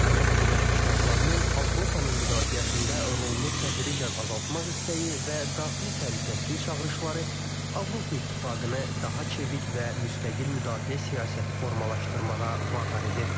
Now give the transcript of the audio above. Amerika Birləşmiş Ştatlarının Avropanın müdafiəsində rolunu tədricən azaltmaq istəyi və daxili təhlükəsizlik çağırışları Avropa İttifaqını daha çevik və müstəqil müdafiə siyasəti formalaşdırmağa vadar edir.